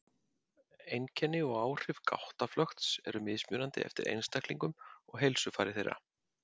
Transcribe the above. Einkenni og áhrif gáttaflökts eru mismunandi eftir einstaklingum og heilsufari þeirra.